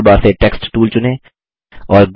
drawing toolbar से text tool चुनें